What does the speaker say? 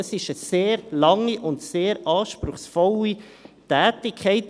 Es ist eine sehr lange und sehr anspruchsvolle Tätigkeit.